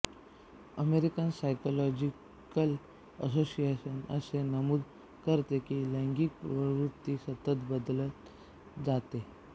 American Psychological Association असे नमूद करते की लैंगिक प्रवृत्ती सतत बदलत जाते